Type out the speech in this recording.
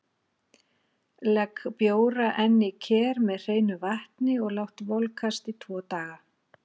Legg bjóra enn í ker með hreinu vatni og lát volkast tvo daga.